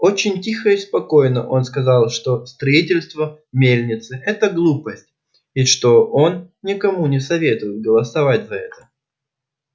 очень тихо и спокойно он сказал что строительство мельницы это глупость и что он никому не советует голосовать за это